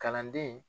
Kalanden